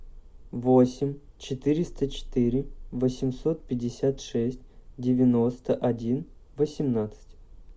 восемь четыреста четыре восемьсот пятьдесят шесть девяносто один восемнадцать